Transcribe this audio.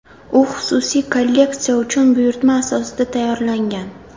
U xususiy kolleksiya uchun buyurtma asosida tayyorlangan.